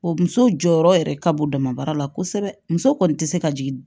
O muso jɔyɔrɔ yɛrɛ ka bon damabaara la kosɛbɛ muso kɔni tɛ se ka jigin